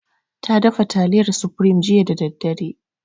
Ta dafa taliyar supreme jiya da daddare.